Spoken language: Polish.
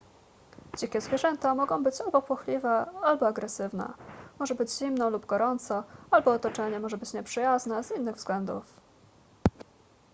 dzikie zwierzęta mogą być albo płochliwe albo agresywne może być zimno lub gorąco albo otoczenie może być nieprzyjazne z innych względów